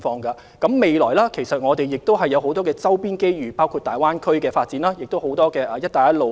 展望未來，其實我們亦有很多周邊的機遇，包括大灣區發展及"一帶一路"倡議帶來的機遇。